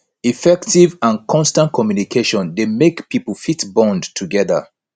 effective and constant communication de make pipo fit bond together